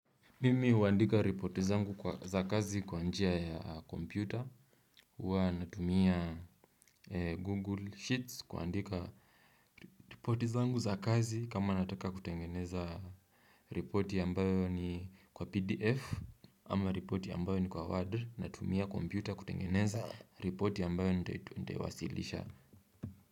Mimi huandika ripoti zangu za kazi kwa njia ya kompyuta huwa natumia google sheets kuandika ripoti zangu za kazi kama nataka kutengeneza ripoti ambayo ni kwa pdf ama ripoti ambayo ni kwa word natumia kompyuta kutengeneza ripoti ambayo nitaiwasilisha.